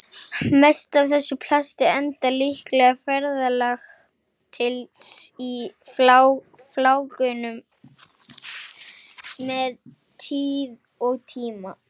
Mest af þessu plasti endar líklega ferðalag sitt í flákunum með tíð og tíma.